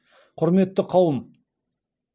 құрметті қауым